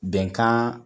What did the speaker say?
Bɛnkan